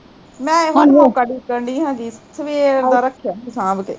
ਮੈਂ ਨੀ ਹੁਣ ਰੋਕ ਰੋਕਣ ਡਈ ਹੈਗੀ, ਸਵੇਰ ਦਾ ਰੱਖਿਆ ਸੀ ਸਾਂਬ ਕੇ